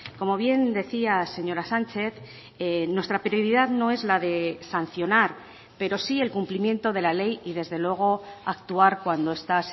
como bien decía señora sánchez nuestra prioridad no es la de sancionar pero sí el cumplimiento de la ley y desde luego actuar cuando esta